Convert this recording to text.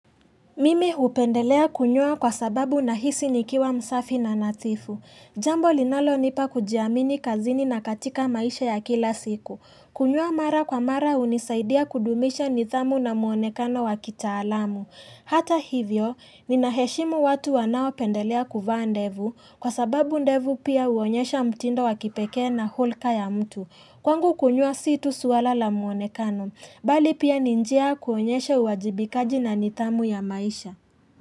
Mimi hupendelea kunyoa kwa sababu nahisi nikiwa msafi na nadhifu. Jambo linalonipa kujiamini kazini na katika maisha ya kila siku. Kunyoa mara kwa mara hunisaidia kudumisha nidhamu na muonekano wa kitaalamu. Hata hivyo, ninaheshimu watu wanaopendelea kuvaa ndevu, kwa sababu ndevu pia huonyesha mtindo wa kipekee na hulka ya mtu. Kwangu kunyoa si tu suala la muonekano, Bali pia ni njia ya kuonyesha uwajibikaji na nidhamu ya maisha.